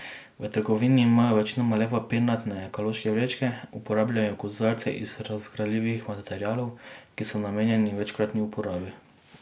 V trgovinah imajo večinoma le papirnate ekološke vrečke, uporabljajo kozarce iz razgradljivih materialov, ki so namenjeni večkratni uporabi.